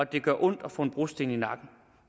det gør ondt at få en brosten i nakken